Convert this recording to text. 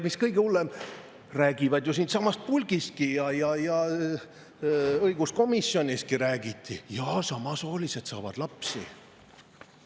Mis kõige hullem, räägivad ju siitsamast puldistki ja õiguskomisjoniski räägiti, et jaa, samasoolised saavad lapsi.